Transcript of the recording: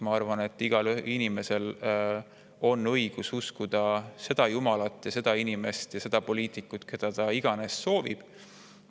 Ma arvan, et igal inimesel on õigus uskuda seda jumalat ja seda inimest ja seda poliitikut, keda ta iganes soovib.